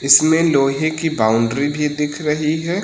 इसमें लोहे की बाउंड्री भी दिख रही है।